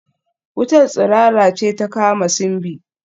Wutar tsirara ce ta kama Simbi